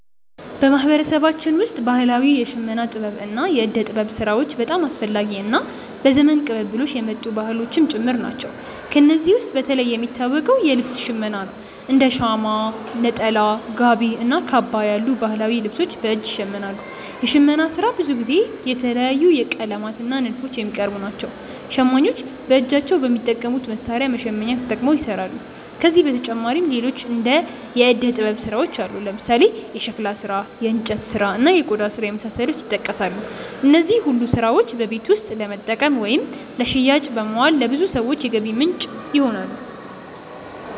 በማህበረሰባችን ውስጥ ባህላዊ የሽመና ጥበብ እና የእደ ጥበብ ስራዎች በጣም አስፈላጊ እና በዘመን ቅብብሎሽ የመጡ ባህሎችም ጭምር ናቸው። ከእነዚህ ውስጥ በተለይ የሚታወቀው የልብስ ሽመና ነው፤ እንደ ሻማ (ሸማ)፣ ነጠላ፣ ጋቢ እና ካባ ያሉ ባህላዊ ልብሶች በእጅ ይሸመናሉ። የሽመና ስራ ብዙ ጊዜ በተለያዩ ቀለማት እና ንድፎች የሚቀርብ ነው። ሸማኞች በእጃቸው በሚጠቀሙት መሣሪያ (መሸመኛ)ተጠቅመው ይሰራሉ። ከዚህ በተጨማሪ ሌሎች የእደ ጥበብ ስራዎችም አሉ፦ ለምሳሌ የሸክላ ስራ፣ የእንጨት ስራ፣ እና የቆዳ ስራ የመሳሰሉት ይጠቀሳሉ። እነዚህ ሁሉ ስራዎች በቤት ውስጥ ለመጠቀም ወይም ለሽያጭ በማዋል ለብዙ ሰዎች የገቢ ምንጭ ይሆናሉ።